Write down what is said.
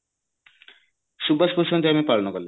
ସୁବାସ ବୋଷ ଙ୍କ ଜୟନ୍ତୀ ପାଳନ କଲେ